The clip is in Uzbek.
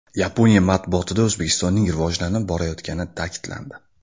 Yaponiya matbuotida O‘zbekistonning rivojlanib borayotgani ta’kidlandi.